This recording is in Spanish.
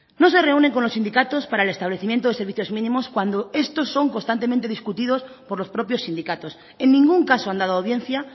no se reúne con los sindicatos para el establecimiento de servicios mínimos cuando estos son constantemente discutidos por los propios sindicatos en ningún caso han dado audiencia